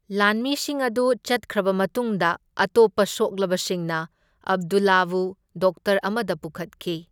ꯂꯥꯟꯃꯤꯁꯤꯡ ꯑꯗꯨ ꯆꯠꯈ꯭ꯔꯕ ꯃꯇꯨꯡꯗ ꯑꯇꯣꯞꯄ ꯁꯣꯛꯂꯕꯁꯤꯡꯅ ꯑꯕꯗꯨꯜꯂꯥꯍꯕꯨ ꯗꯣꯛꯇꯔ ꯑꯃꯗ ꯄꯨꯈꯠꯈꯤ꯫